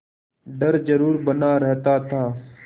डर जरुर बना रहता था